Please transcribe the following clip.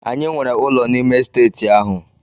Anyị nwere ụlọ n'ime Estate ahụ.